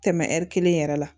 Tɛmɛ kelen yɛrɛ la